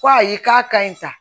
Ko ayi k'a ka ɲi sa